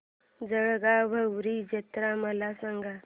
जळगाव भैरी जत्रा मला सांग